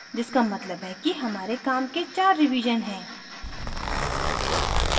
जिसका मतलब है कि हमारे काम के चार रिवीजन हैं